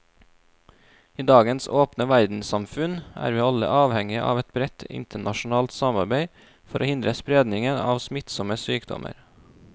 I dagens åpne verdenssamfunn er vi alle avhengige av et bredt internasjonalt samarbeid for å hindre spredningen av smittsomme sykdommer.